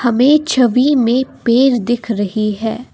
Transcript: हमें छवि में पेड़ दिख रही है।